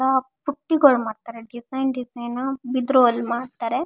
ಆಹ್ಹ್ ಬುಟ್ಟಿಗಳು ಮಾಡ್ತಾರೆ design design ಬಿದಿರಲ್ ಮಾಡ್ತಾರೆ.